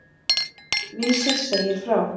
Vísir segir frá.